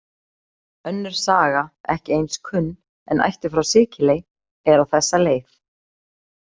Önnur saga, ekki eins kunn, en ættuð frá Sikiley, er á þessa leið: